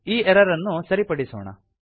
ಈ ಎರರ್ ಅನ್ನು ಸರಿಪಡಿಸೋಣ